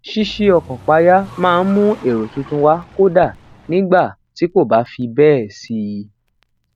sisi okan paya maa n mu ero tuntun wa kódà nígbà tí kò bá fi béè sí